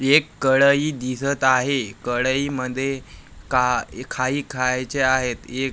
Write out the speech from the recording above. एक कढई दिसत आहे कढई मध्ये का खाई खायचे आहेत एक--